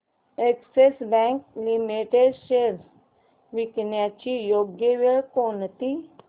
Axis bank limited shares विकण्याची योग्य वेळ कोणती